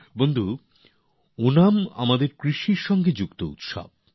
বন্ধুগণ ওণাম আমাদের কৃষির সঙ্গে যুক্ত উৎসব